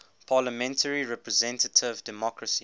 parliamentary representative democracy